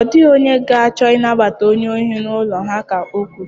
Ọ dịghị onye ga-achọ ịnabata onye ohi n'ụlọ ha ka o kwuru.